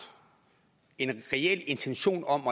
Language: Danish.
en reel intention om